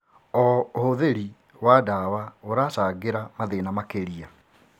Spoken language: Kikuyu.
O ũhũthĩri wa ndawa ũracangĩra mathĩĩna makĩria.